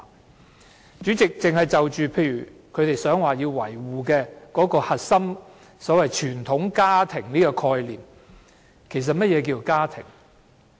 代理主席，單單去看他們試圖維護的核心價值，即所謂"傳統家庭"的這個概念，其實何謂"家庭"？